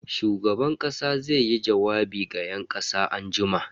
Shugaban kasa zaiyi jawabi ga yan kasa anjima.